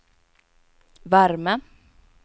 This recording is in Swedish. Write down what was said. värme